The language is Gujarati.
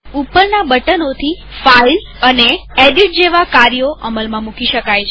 ઉપરના બટનોથી ફાઈલ અને એડિટ જેવા કાર્યો અમલમાં મૂકી શકાય